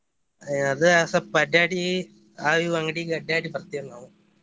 ಅದ ಸ್ವಲ್ಪ ಅಡ್ಯಾಡಿ ಆವ ಅವ್ ಇವ ಅಂಗ್ಡಿಗೆ ಅಡ್ಡಾಡಿ ಬರ್ತಿವ್ ನಾವು.